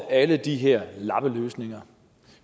alle de her lappeløsninger